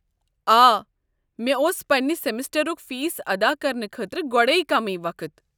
آ، مےٚ اوس پنٛنہِ سمسٹرُک فیس ادا کرنہٕ خٲطرٕ گۄڈے کٔمٕے وقت۔